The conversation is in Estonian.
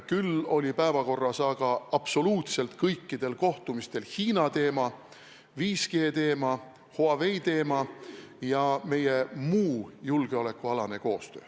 Küll oli absoluutselt kõikidel kohtumistel päevakorras Hiina teema, 5G teema, Huawei teema ja meie muu julgeolekualane koostöö.